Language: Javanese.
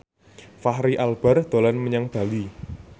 Fachri Albar dolan menyang Bali